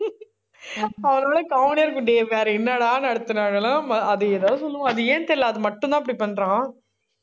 அவரோட comedy ஆ இருக்கும்டி. வேற என்னடா நடத்துனாலும், அதையே தான் சொல்லுவான். அது ஏன்னு தெரியலே. அது மட்டும்தான், அப்படி பண்றான்